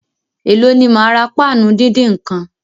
Èló ni máa ra páànù díndín nǹkan?